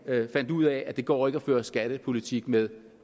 fandt ud af at det ikke går at føre skattepolitik med